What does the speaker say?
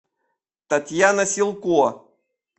татьяна силко